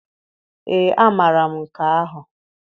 Ee amara m nke ahụ.